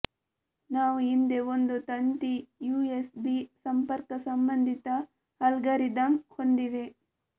ನಾವು ಹಿಂದೆ ಒಂದು ತಂತಿ ಯುಎಸ್ಬಿ ಸಂಪರ್ಕ ಸಂಬಂಧಿತ ಅಲ್ಗಾರಿದಮ್ ಹೊಂದಿವೆ